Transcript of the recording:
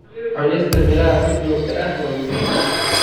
Cunista miraha si joogto ah waa muhiim.